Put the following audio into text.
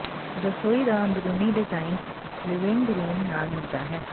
ਰਸੋਈ ਦਾ ਅੰਦਰੂਨੀ ਡਿਜ਼ਾਇਨ ਲਿਵਿੰਗ ਰੂਮ ਨਾਲ ਮਿਲਦਾ ਹੈ